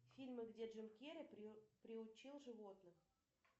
фильмы где джим кери приучил животных